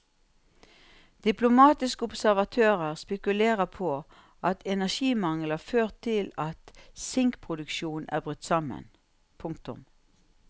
Diplomatiske observatører spekulerer på at energimangel har ført til at sinkproduksjonen er brutt sammen. punktum